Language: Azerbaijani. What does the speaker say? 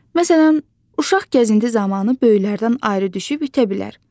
Məsələn, uşaq gəzinti zamanı böyüklərdən ayrı düşüb itə bilər.